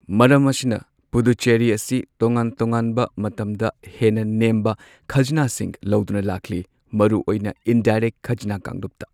ꯃꯔꯝ ꯑꯁꯤꯅ, ꯄꯨꯗꯨꯆꯦꯔꯤ ꯑꯁꯤ ꯇꯣꯉꯥꯟ ꯇꯣꯉꯥꯟꯕ ꯃꯇꯝꯗ ꯍꯦꯟꯅ ꯅꯦꯝꯕ ꯈꯖꯅꯥꯁꯤꯡ ꯂꯧꯗꯨꯅ ꯂꯥꯛꯂꯤ, ꯃꯔꯨꯑꯣꯏꯅ ꯏꯟꯗꯥꯏꯔꯦꯛ ꯈꯖꯅ ꯀꯥꯡꯂꯨꯞꯇ꯫